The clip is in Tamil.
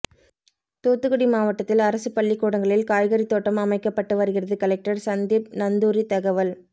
தூத்துக்குடி மாவட்டத்தில் அரசு பள்ளிக்கூடங்களில் காய்கறி தோட்டம் அமைக்கப்பட்டு வருகிறது கலெக்டர் சந்தீப் நந்தூரி தகவல்